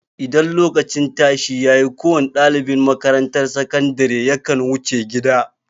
Idan lokacin tashi ya yi, kowa ne ɗalibin makatarantar sakandire ya kan wuce gida.